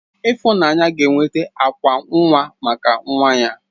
Ifunanya ga enweta akwa nnwa maka nwa ya.